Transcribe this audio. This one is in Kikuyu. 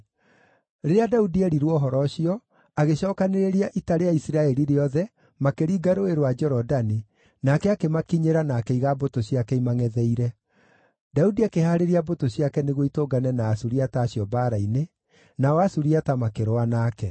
Rĩrĩa Daudi eerirwo ũhoro ũcio, agĩcookanĩrĩria ita rĩa Isiraeli rĩothe, makĩringa Rũũĩ rwa Jorodani, nake akĩmakinyĩra na akĩiga mbũtũ ciake imangʼetheire. Daudi akĩhaarĩria mbũtũ ciake nĩguo itũngane na Asuriata acio mbaara-inĩ, nao Asuriata makĩrũa nake.